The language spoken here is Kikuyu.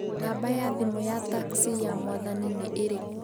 Nambari ya thimũ ya taxi ya mwathani nĩ ĩrĩkũ?